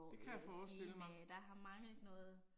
Det kan jeg forestille mig